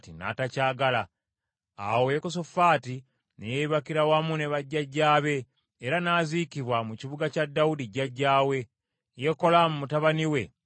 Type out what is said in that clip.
Awo Yekosafaati ne yeebakira wamu ne bajjajjaabe era n’aziikibwa mu kibuga kya Dawudi jjajjaawe, Yekolaamu mutabani we n’amusikira.